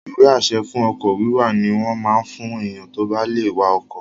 Ìwé-àṣẹ fún ọkọ̀ wíwà ní wọ́n máa n fún èèyàn tó bá lè wa ọkọ̀